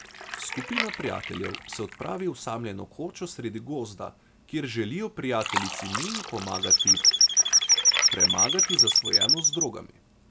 Skupina prijateljev se odpravi v osamljeno kočo sredi gozda, kjer želijo prijateljici Miji pomagati premagati zasvojenost z drogami.